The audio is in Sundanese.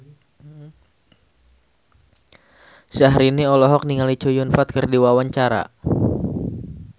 Syahrini olohok ningali Chow Yun Fat keur diwawancara